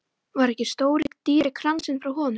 Var ekki stóri dýri kransinn frá honum?